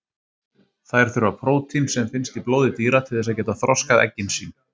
Þær þurfa prótín sem finnst í blóði dýra til þess að geta þroskað eggin sín.